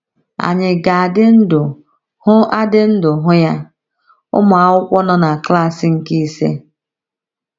Ànyị ga - adị ndụ hụ adị ndụ hụ ya? ’— Ụmụ akwụkwọ nọ na klas nke ise